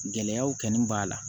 Gɛlɛyaw kanu b'a la